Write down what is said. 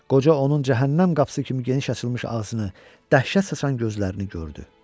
Qoca onun cəhənnəm qapısı kimi geniş açılmış ağzını, dəhşət saçan gözlərini gördü.